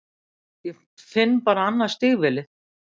Ég finn bara annað stígvélið.